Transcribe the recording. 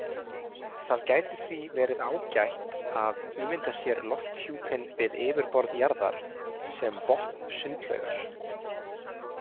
Það gæti því verið ágætt að ímynda sér lofthjúpinn við yfirborð jarðar sem botn sundlaugar.